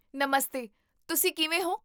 ਨਮਸਤੇ, ਤੁਸੀ ਕਿਵੇਂ ਹੋ?